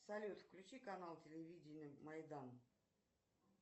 салют включи канал телевидение майдан